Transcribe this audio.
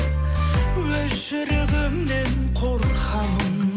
өз жүрегімнен қорқамын